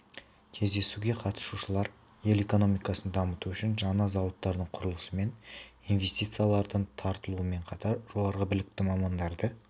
кездесуге қатысушылар ел экономикасын дамыту үшін жаңа зауыттардың құрылысы мен инвестициялардың тартылуымен қатар жоғары білікті мамандарды